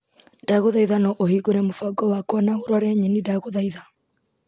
Ndagũthaitha no ũhingũre mũbango wakwa na ũrore nyeni ndagũthaitha .